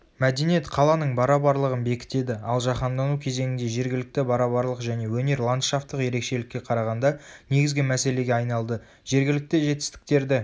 мәдениет қаланың барабарлығын бекітеді ал жаһандану кезеңінде жергілікті барабарлық және өнер ландшафтық ерекшелікке қарағанда негізгі мәселеге айналды жергілікті жетістіктерді